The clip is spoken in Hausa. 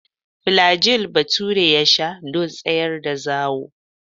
Flajil Bature ya sha don tsayar da zawo.